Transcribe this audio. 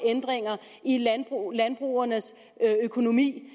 ændringer i landbrugernes økonomi